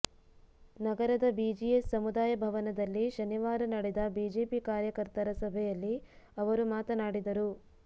ನಗರದ ಬಿಜಿಎಸ್ ಸಮುದಾಯ ಭವನದಲ್ಲಿ ಶನಿವಾರ ನಡೆದ ಬಿಜೆಪಿ ಕಾರ್ಯಕರ್ತರ ಸಭೆಯಲ್ಲಿ ಅವರು ಮಾತನಾಡಿದರು